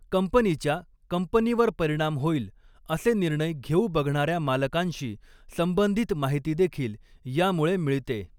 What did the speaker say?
कंपनीच्या, कंपनीवर परिणाम होईल असे निर्णय घेऊ बघणाऱ्या मालकांशी संबंधित माहितीदेखील यामुळे मिळते